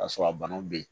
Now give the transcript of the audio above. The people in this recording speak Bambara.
K'a sɔrɔ a banaw bɛ yen